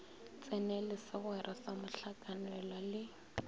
tsenele segwera sa mohlakanelwa le